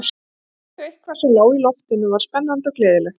Í fyrstu eitthvað sem lá í loftinu og var spennandi og gleðilegt.